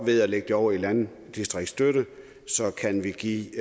ved at lægge det over i landdistriktsstøtte kan vi give